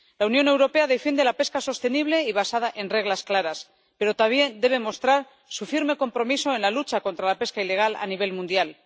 La Unión Europea defiende la pesca sostenible y basada en reglas claras, pero también debe mostrar su firme compromiso en la lucha contra la pesca ilegal a nivel mundial.